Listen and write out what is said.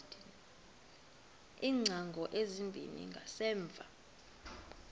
iingcango ezimbini zangasemva